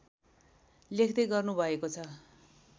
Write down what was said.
लेख्दै गर्नु भएको छ